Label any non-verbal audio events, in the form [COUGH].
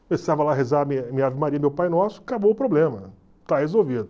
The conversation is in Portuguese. Começava lá a rezar [UNINTELLIGIBLE] minha ave maria, meu pai nosso, acabou o problema, está resolvido.